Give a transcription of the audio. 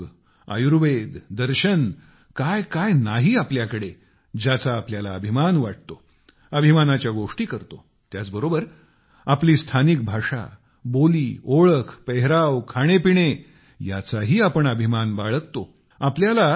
आपला योग आयुर्वेद तत्त्वज्ञान कायकाय नाही आपल्याकडे ज्याचा आपल्याला अभिमान वाटतो अभिमानाच्या गोष्टी करतो त्याचबरोबर आपली स्थानिक भाषा बोली ओळख पेहराव खाणेपिणे याचाही अभिमान बाळगतो